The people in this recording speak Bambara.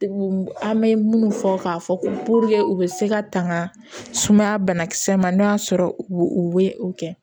An bɛ minnu fɔ k'a fɔ ko u bɛ se ka tanga sumaya banakisɛ ma n'o y'a sɔrɔ u bɛ o kɛ